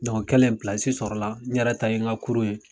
o kɛlen sɔrɔla, n yɛrɛ ta yen, n kurun ye